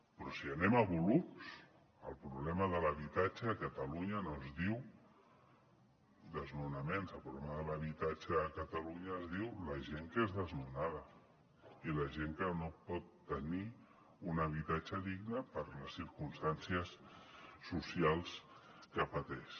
però si anem a volums el problema de l’habitatge a catalunya no es diu desnonaments el problema de l’habitatge a catalunya es diu la gent que és desnonada i la gent que no pot tenir un habitatge digne per les circumstàncies socials que pateix